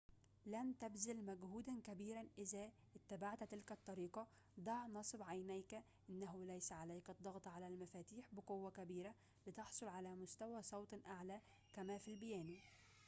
لن تبذل مجهوداً كبيراً إذا اتبعت تلك الطريقة ضع نصب عينيك أنه ليس عليك الضغط على المفاتيح بقوةٍ كبيرةٍ لتحصل على مستوى صوتٍ أعلى كما في البيانو